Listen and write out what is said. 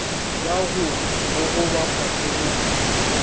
tša go gogoba fase gomme